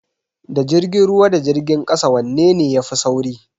Da jirgin ruwa da jirgin kasa wai wanne ne yafi sauri?